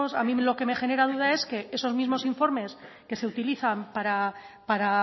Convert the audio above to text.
a mí lo que me genera duda es que esos mismos informes que se utilizan para